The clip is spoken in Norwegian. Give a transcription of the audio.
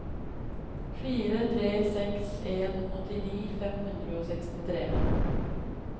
fire tre seks en åttini fem hundre og sekstitre